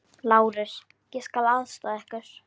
LÁRUS: Ég skal aðstoða yður.